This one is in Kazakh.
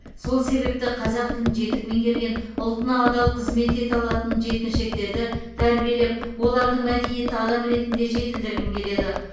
сол себепті қазақ тілін жетік меңгерген ұлтына адал қызмет ете алатын жеткіншектерді тәрбиелеп олардың мәдениетті адам ретінде жетілдіргім келеді